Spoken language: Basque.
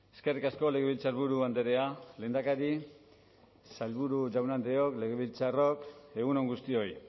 eskerrik asko legebiltzarburu andrea lehendakari sailburu jaun andreok legebiltzarrok egun on guztioi